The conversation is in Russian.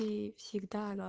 ии всегда